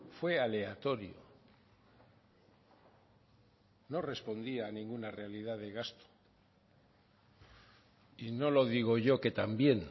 fue aleatorio no respondía a ninguna realidad de gasto y no lo digo yo que también